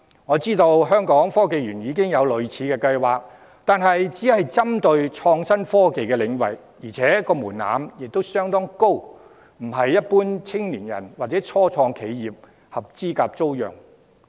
我知道香港科技園公司已有類似計劃，但都是針對創新科技領域，而且門檻高，非一般青年人或初創企業能合資格租用。